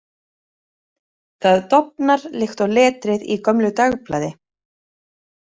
Það dofnar líkt og letrið í gömlu dagblaði.